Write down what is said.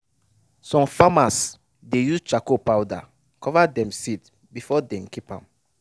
some farmers dey use charcoal powder cover dem seed before dey keep ahm.